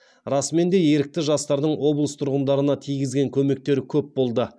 расымен де ерікті жастардың облыс тұрғындарына тигізген көмектері көп болды